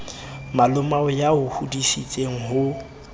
malomao ya o hodisitseng ho